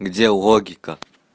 где логика